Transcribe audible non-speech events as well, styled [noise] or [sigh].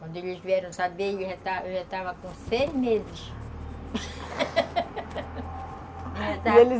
Quando eles vieram saber, eu já já estava com seis meses [laughs] e eles